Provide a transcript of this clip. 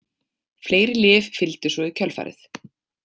Fleiri lyf fylgdu svo í kjölfarið.